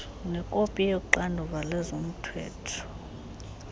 nekopi yoxanduva lwezomthetho